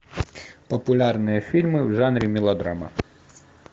популярные фильмы в жанре мелодрама